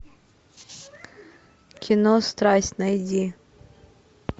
кино страсть найди